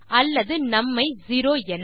அல்லது நும் ஐ 0 என